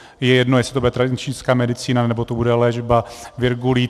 Je jedno, jestli to bude tradiční čínská medicína, nebo to bude léčba virgulí.